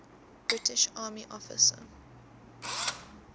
british army officer